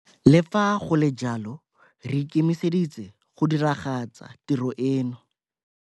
Le fa go le jalo re ikemiseditse go diragatsa tiro eno.